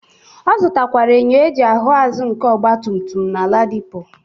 Ọ zutakwara enyo eji ahụ azụ nke ọgbatumtum na Ladipo.